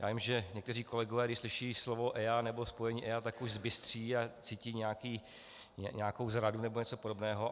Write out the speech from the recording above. Já vím, že někteří kolegové, když slyší slovo EIA, nebo spojení EIA, tak už zbystří a cítí nějakou zradu nebo něco podobného.